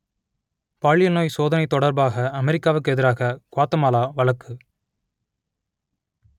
பாலியல் நோய் சோதனை தொடர்பாக அமெரிக்காவுக்கு எதிராக குவாத்தமாலா வழக்கு